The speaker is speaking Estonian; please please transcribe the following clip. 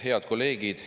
Head kolleegid!